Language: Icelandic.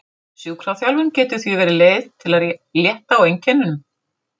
Sjúkraþjálfun getur því verið leið til að létta á einkennunum.